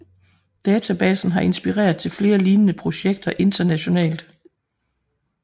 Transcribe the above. Databasen har inspireret til flere lignende projekter internationalt